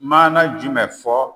Maana jumɛn fɔ